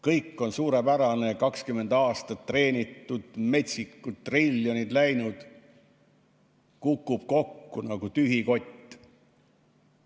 Kõik on suurepärane, 20 aastat treenitud, metsikud triljonid läinud – kukub kokku nagu tühi kott.